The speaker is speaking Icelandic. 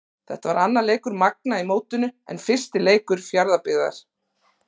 Þetta var annar leikur Magna í mótinu en fyrsti leikur Fjarðabyggðar.